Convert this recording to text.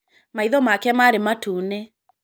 Maitho make marĩ matune.